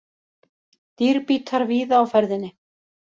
Dýrbítar víða á ferðinni